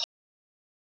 Besta markið?